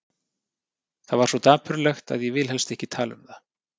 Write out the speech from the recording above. Það var svo dapurlegt að ég vil helst ekki tala um það.